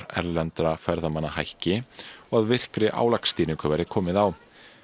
erlendra ferðamanna hækki og að virkri álagsstýringu verið komið á